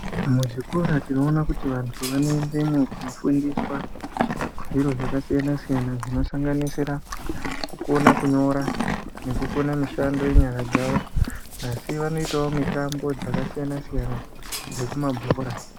Muzvikora tinoona kuti vantu vanoendemo kunofundiswa zviro zvakasiyana-siyana zvinosanganisira kukona kunyora nekukona mishando yenyara dzavo asi vanoitawo mitambo dzakasiyana-siyana dzekumabhora.